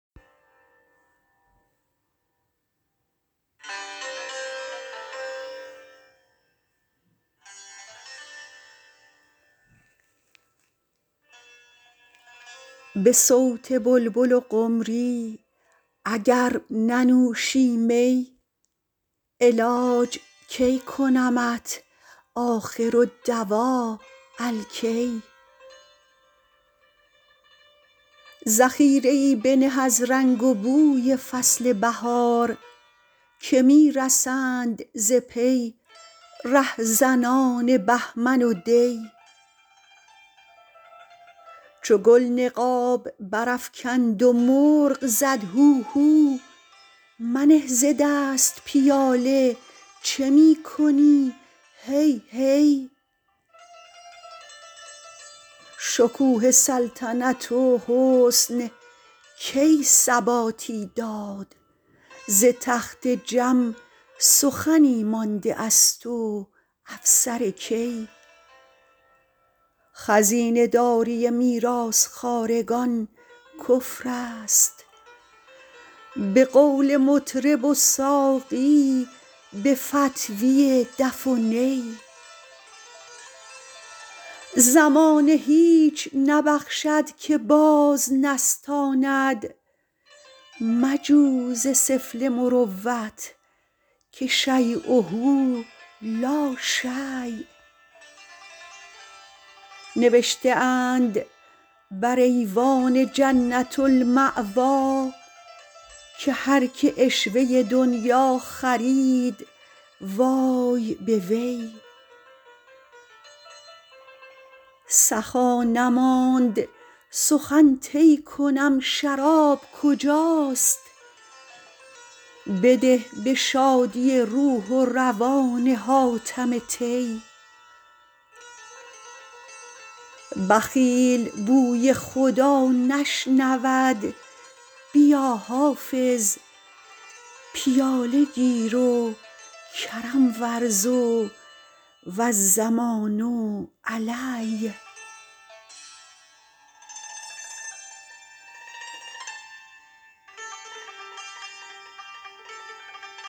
به صوت بلبل و قمری اگر ننوشی می علاج کی کنمت آخرالدواء الکی ذخیره ای بنه از رنگ و بوی فصل بهار که می رسند ز پی رهزنان بهمن و دی چو گل نقاب برافکند و مرغ زد هوهو منه ز دست پیاله چه می کنی هی هی شکوه سلطنت و حسن کی ثباتی داد ز تخت جم سخنی مانده است و افسر کی خزینه داری میراث خوارگان کفر است به قول مطرب و ساقی به فتویٰ دف و نی زمانه هیچ نبخشد که باز نستاند مجو ز سفله مروت که شییه لا شی نوشته اند بر ایوان جنة الماویٰ که هر که عشوه دنییٰ خرید وای به وی سخا نماند سخن طی کنم شراب کجاست بده به شادی روح و روان حاتم طی بخیل بوی خدا نشنود بیا حافظ پیاله گیر و کرم ورز و الضمان علی